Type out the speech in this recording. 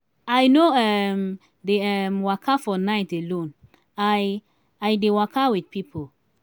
i no um dey um waka for night alone i i dey waka wit pipo.